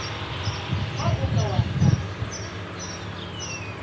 ha o ka wa hlala